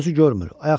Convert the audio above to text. gözü görmür,